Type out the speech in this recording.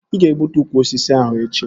Ị ga-egbutu ukwu osisi ahụ echi!